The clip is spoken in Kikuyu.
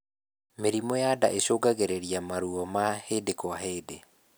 mĩrimũ ya ndaa icungagirirĩa maruo ma hĩndĩ kwa hĩndĩ